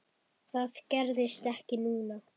Það gerðist ekki núna.